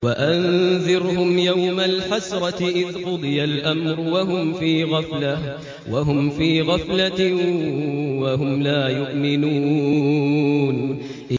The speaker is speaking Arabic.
وَأَنذِرْهُمْ يَوْمَ الْحَسْرَةِ إِذْ قُضِيَ الْأَمْرُ وَهُمْ فِي غَفْلَةٍ وَهُمْ لَا يُؤْمِنُونَ